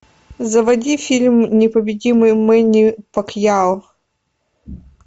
заводи фильм непобедимый мэнни пакьяо